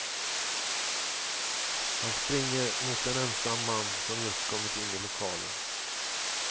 Han springer mot en ensam man som just kommit in i lokalen.